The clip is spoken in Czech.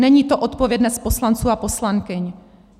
Není to odpovědnost poslanců a poslankyň.